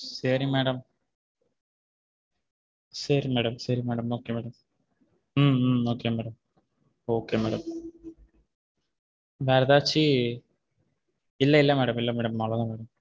சேரி madam சேரி madam okay madam okay madam okay madam வேற எதாச்சு இல்ல இல்ல madam இல்ல madam அவளவுதான் madam